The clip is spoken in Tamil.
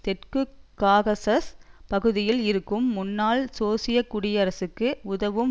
தெற்கு காகசஸ் பகுதியில் இருக்கும் முன்னாள் சோவியத் குடியரசுக்கு உதவும்